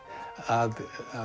að